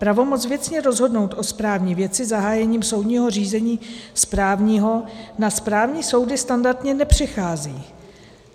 Pravomoc věcně rozhodnout o správní věci zahájením soudního řízení správního na správní soudy standardně nepřechází.